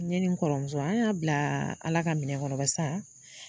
Ne ni n kɔrɔmuso an y'a bila Ala ka minɛn kɔnɔ barisa